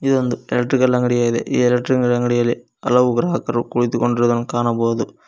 ಇದು ಒಂದು ಎಲೆಕ್ಟ್ರಿಕಲ್ ಅಂಗಡಿ ಆಗಿದೆ ಈ ಎಲೆಕ್ಟ್ರಿಕಲ್ ಅಂಗಡಿಯಲ್ಲಿ ಹಲವು ಗ್ರಾಹಕರು ಕುಳಿತುಕೊಂಡಿರುವುದನ್ನು ಕಾಣಬಹುದು.